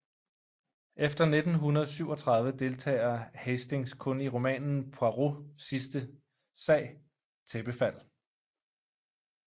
Efter 1937 deltager Hastings kun i romanen Poirots sidste sag Tæppefald